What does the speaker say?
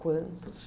Quantos?